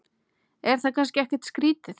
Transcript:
Það er kannski ekkert skrýtið?